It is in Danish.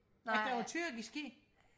nej